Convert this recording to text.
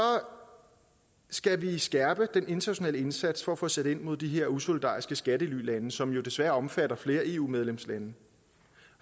skal vi skærpe den internationale indsats for at få sat ind mod de her usolidariske skattelylande som jo desværre omfatter flere eu medlemslande